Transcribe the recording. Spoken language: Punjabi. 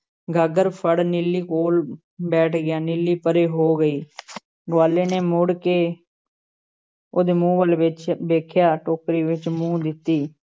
ਗਾਗਰ ਫੜ ਨੀਲੀ ਕੋਲ਼ ਬੈਠ ਗਿਆ ਨੀਲੀ ਪਰੇ ਹੋ ਗਈ ਗਵਾਲ਼ੇ ਨੇ ਮੁੜ ਕੇ ਉਹਦੇ ਮੂੰਹ ਵੱਲ ਵੇਖ~ ਵੇਖਿਆ, ਟੋਕਰੀ ਵਿੱਚ ਮੂੰਹ ਦਿੱਤੀ